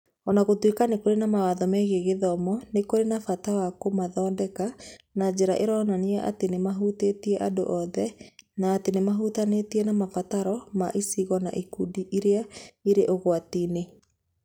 O na gũtuĩka nĩ kũrĩ na mawatho megiĩ gĩthomo, nĩ kũrĩ na bata wa kũmathondeka na njĩra ĩronania atĩ nĩ mahutĩtie andũ othe na atĩ nĩ mahutanĩtie na mabataro ma icigo na ikundi iria irĩ ũgwati-inĩ.